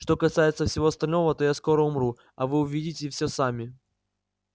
что касается всего остального то я скоро умру а вы увидите все сами